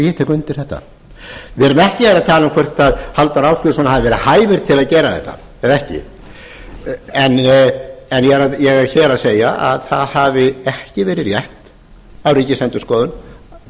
ég tek undir þetta við erum ekki hér að tala um hvort halldór ásgrímsson hafi verið hæfur til að gera þetta eða ekki ég er hér að segja að það hafi ekki verið rétt af ríkisendurskoðun